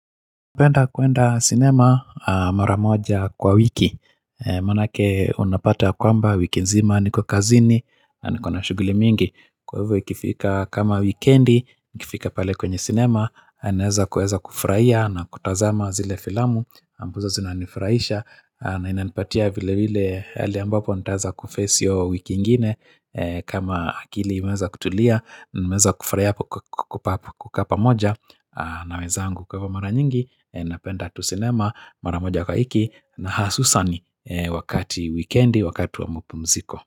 Napeenda kuenda cinema mara moja kwa wiki Maanake unapata yakwamba wiki nzima niko kazini na nikona shuguli mingi Kwa hivyo ikifika kama wikendi Ikifika pale kwenye cinema naweza kufurahia na kutazama zile filamu ambazo zinanifurahisha na inanipatia vile vile ali ambapo nitaweza kuface hio wiki ingine kama akili imeweza kutulia nimeweza kufurahia kukaa pamoja na wezangu kwa mara nyingi napenda tu cinema, mara moja kwa wiki na hasusan wakati wikendi, wakati wa mpumziko.